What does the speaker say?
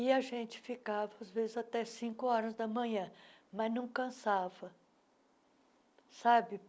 E a gente ficava às vezes até cinco horas da manhã, mas não cansava, sabe?